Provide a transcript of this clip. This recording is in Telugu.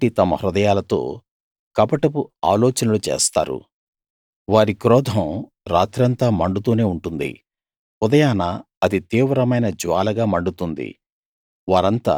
పొయ్యి లాంటి తమ హృదయాలతో కపటపు ఆలోచనలు చేస్తారు వారి క్రోధం రాత్రంతా మండుతూనే ఉంటుంది ఉదయాన అది తీవ్రమైన జ్వాలగా మండుతుంది